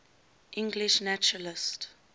english naturalists